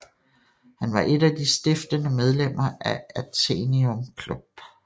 Han var et af de stiftende medlemmer af Athenaeum Club